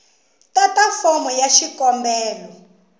tata fomo ya xikombelo hi